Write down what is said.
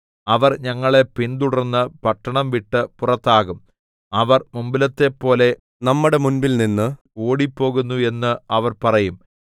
അവർ ഞങ്ങളെ പിന്തുടർന്ന് പട്ടണം വിട്ട് പുറത്താകും അവർ മുമ്പിലത്തെപ്പൊലെ നമ്മുടെ മുമ്പിൽനിന്ന് ഓടിപ്പോകുന്നു എന്ന് അവർ പറയും